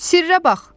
Sirrə bax!